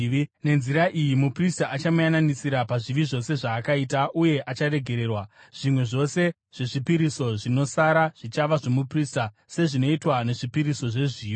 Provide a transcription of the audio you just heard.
Nenzira iyi muprista achamuyananisira pazvivi zvose zvaakaita uye acharegererwa. Zvimwe zvose zvezvipiriso zvinosara zvichava zvomuprista, sezvinoitwa nezvipiriso zvezviyo.’ ”